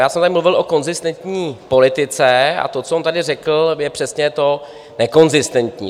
Já jsem tady mluvil o konzistentní politice a to, co on tady řekl, je přesně to nekonzistentní.